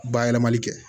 Bayɛlɛmali kɛ